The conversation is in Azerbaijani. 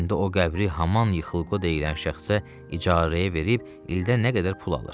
İndi o qəbri haman Yıxılqo deyilən şəxsə icarəyə verib ildə nə qədər pul alır.